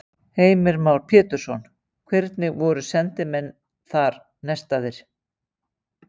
Heimir Már Pétursson: Hvernig voru sendimenn þar nestaðir?